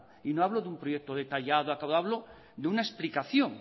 y no hablo de un proyecto detallado hablo de una explicación